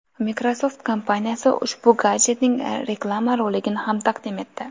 Microsoft kompaniyasi ushbu gadjetning reklama-roligini ham taqdim etdi.